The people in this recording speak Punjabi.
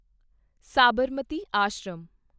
ਸਾਬਰਮਤੀ ਆਸ਼ਰਮ